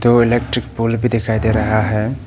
दो electric pole भी दिखाई दे रहा है।